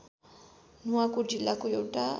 नुवाकोट जिल्लाको एउटा